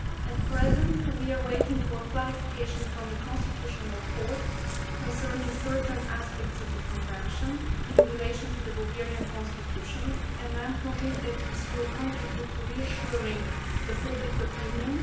At present, we are waiting for clarification from the constitutional court concerning certain aspects of the Convention in relation to the Bulgarian constitution, and I am convinced that this will contribute to reassuring public opinion.